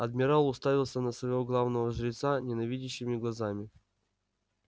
адмирал уставился на своего главного жреца ненавидящими глазами